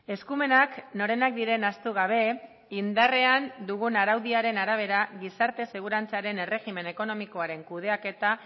eskumenak norenak diren ahaztu gabe indarrean dugun araudiaren arabera gizarte segurantzaren erregimen ekonomikoaren kudeaketa